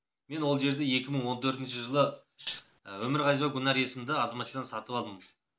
мен ол жерді екі мың он төртінші жылы өмірғазиева гүлнәр есімді азаматшадан сатып алдым